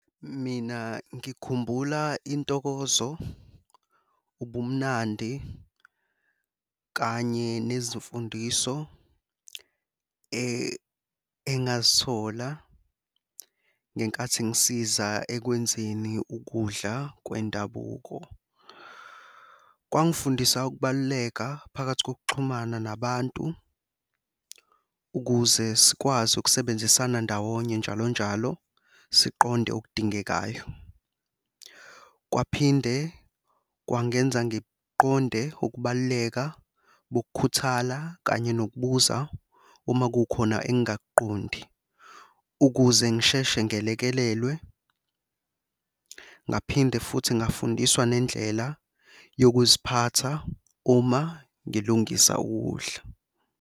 Mina ngikhumbula intokozo, ubumnandi kanye nezimfundiso engazithola ngenkathi ngisiza ekwenzeni ukudla kwendabuko. Kwangifundisa ukubaluleka phakathi kokuxhumana nabantu ukuze sikwazi ukusebenzisana ndawonye njalo njalo siqonde okudingekayo. Kwaphinde kwangenza ngiqonde ukubaluleka, ukukhuthala, kanye nokubuza uma kukhona engingakuqondi ukuze ngisheshe ngelekelelwe. Ngaphinde futhi ngafundiswa nendlela yokuziphatha uma ngilungisa ukudla.